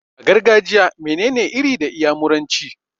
A gargajiya mene ne 'Iri' da iyamuranci?